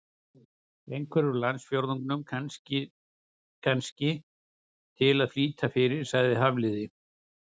Einhvern úr landsfjórðungnum, kannski, til að flýta fyrir- sagði Hafliði.